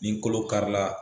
Nin kolo kari la.